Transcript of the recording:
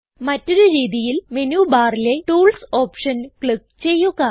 മറ്റൊരു രീതിയിൽ മെനു ബാറിലെ ടൂൾസ് ഓപ്ഷൻ ക്ലിക്ക് ചെയ്യുക